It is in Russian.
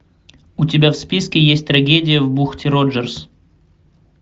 у тебя в списке есть трагедия в бухте роджерс